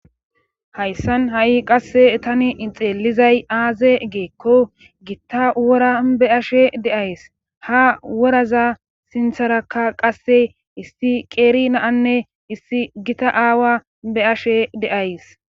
hayssan ha7i qasse tani ixeelizay aaze geekko gitta wora be ashe deays ha woraza sintharakka qasse issi qeeri naanne issi gita aawa be ashe de7ays